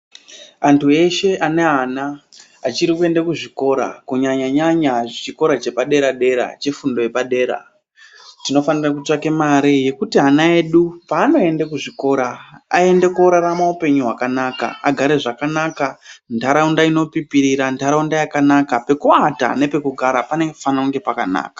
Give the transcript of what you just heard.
Antu eshe ane ana achiri kuenda kuzvikora kunyanya nyanya chikora chepadera dera chefundo yepadera, tinofane kutsvake mare yekuti ana edu paanoende kuzvikora aende korarama hupenyu hwakanaka, vagare zvakanaka. Ntaraunda inopipirira ntaraunda yakanaka pekuata nepekugata panofana kunge pakanaka.